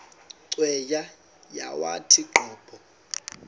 cweya yawathi qobo